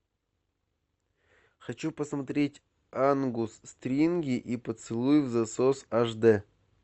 хочу посмотреть ангус стринги и поцелуй взасос аш дэ